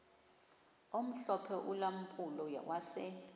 omhlophe ulampulo wase